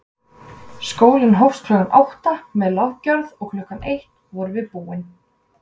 Skólinn hófst klukkan átta með lofgjörð og klukkan eitt vorum við búin.